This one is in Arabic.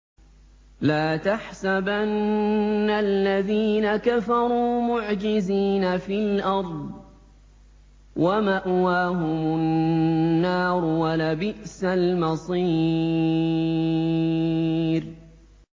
لَا تَحْسَبَنَّ الَّذِينَ كَفَرُوا مُعْجِزِينَ فِي الْأَرْضِ ۚ وَمَأْوَاهُمُ النَّارُ ۖ وَلَبِئْسَ الْمَصِيرُ